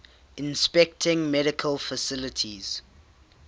inspecting medical facilities